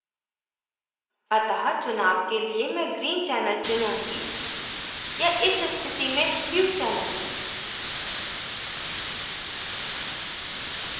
अतः चुनाव के लिए मैं green channel चुनूँगी या इस स्थिति में ह्यू channel